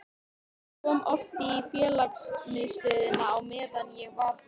Hann kom oft í félagsmiðstöðina á meðan ég vann þar.